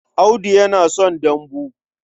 Audu yana son dambu.